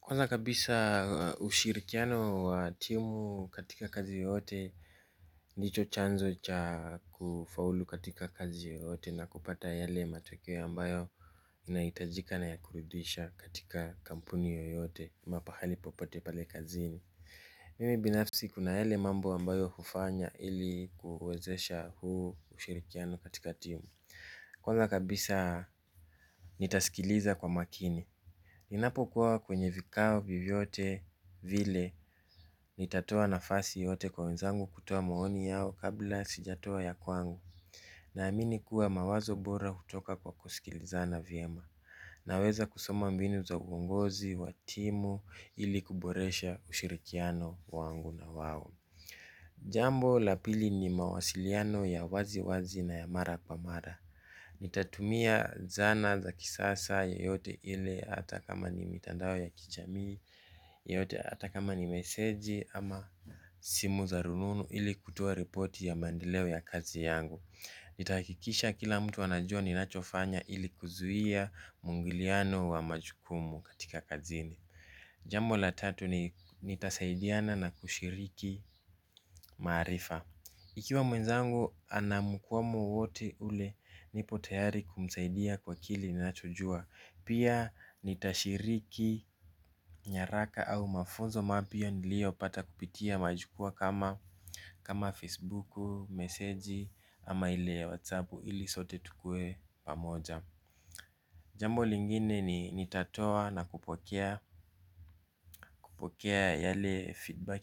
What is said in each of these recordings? Kwanza kabisa ushirikiano wa timu katika kazi yoyote, ndicho chanzo cha kufaulu katika kazi yoyote na kupata yale matokeo ambayo inahitajika na yakuridisha katika kampuni yoyote, ama pahali popote pale kazini. Mimi binafsi kuna yale mambo ambayo hufanya ili kuwezesha huu ushirikiano katika timu. Kwanza kabisa nitaskiliza kwa makini. Ninapokuwa kwenye vikao vyovyote vile nitatoa nafasi yote kwa wenzangu kutoa maoni yao kabla sijatoa ya kwangu naamini kuwa mawazo bora hutoka kwa kusikilizana vyema naweza kusoma mbinu za uongozi wa timu ili kuboresha ushirikiano wangu na wao. Jambo la pili ni mawasiliano ya wazi wazi na ya mara kwa mara. Nitatumia zana za kisasa yoyote ili hata kama ni mitandao ya kijamii. Yote hata kama ni meseji ama simu za rununu ili kutoa ripoti ya maendeleo ya kazi yangu. Nitahakikisha kila mtu anajua ninachofanya ili kuzuia mwingiliano wa majukumu katika kazini jambo la tatu ni nitasaidiana na kushiriki maarifa. Ikiwa mwenzangu ana kikwazo wowote ule nipo tayari kumsaidia kwa akili ninachojua. Pia nitashiriki nyaraka au mafunzo mapya niliopata kupitia majukua kama Facebook, meseji ama ile WhatsApp ili sote tukue pamoja. Jambo lingine ni nitatoa na kupokea yale feedback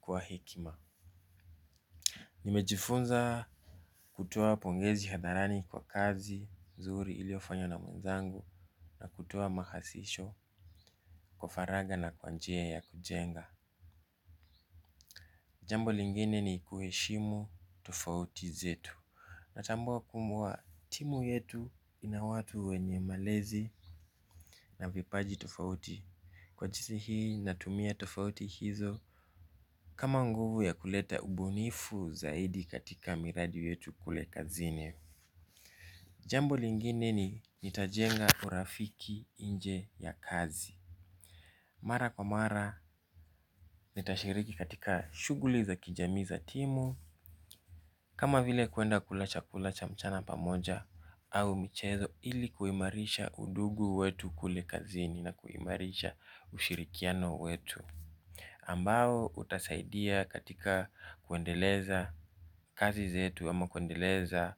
kwa hekima. Nimejifunza kutoa pongezi hadharani kwa kazi, nzuri iliyofanywa na mwenzangu na kutoa maoni, kwa faragha na kwa njia ya kujenga. Jambo lingine ni kuheshimu tofauti zetu. Natambua kwamba timu yetu ina watu wenye malezi na vipaji tofauti. Kwa jinsi hii natumia tofauti hizo kama nguvu ya kuleta ubunifu zaidi katika miradi yetu kule kazini. Jambo lingine ni nitajenga urafiki nje ya kazi mara kwa mara nitashiriki katika shughuli za kijamii za timu kama vile kwenda kukula chakula cha mchana pamoja au michezo ili kuimarisha undugu wetu kule kazini na kuimarisha ushirikiano wetu ambao utasaidia katika kuendeleza kazi zetu ama kuendeleza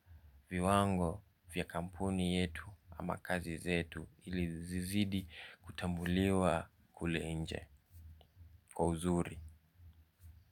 viwango vya kampuni yetu ama kazi zetu ili zizidi kutambuliwa kule nje kwa uzuri.